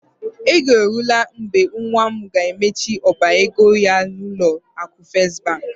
Oge eruola mgbe nwa m ga-emechi ọba ego ya n'ụlọ akụ First Bank.